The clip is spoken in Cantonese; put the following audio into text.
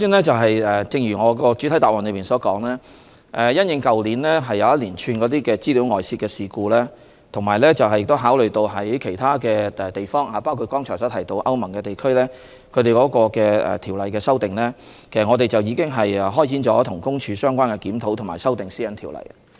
正如我在主體答覆中所說，因應去年發生的一系列個人資料外泄事故，以及考慮到其他地方，包括剛才提到歐盟地區對有關條例的修訂，政府和公署已開展相關的檢討和修訂《私隱條例》的工作。